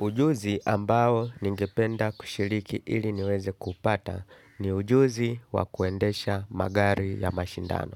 Ujuzi ambao ningependa kushiriki ili niweze kuupata, ni ujuzi wakuendesha magari ya mashindano.